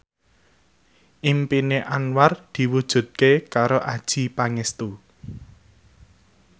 impine Anwar diwujudke karo Adjie Pangestu